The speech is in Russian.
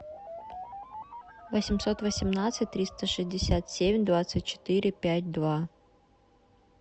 восемьсот восемнадцать триста шестьдесят семь двадцать четыре пять два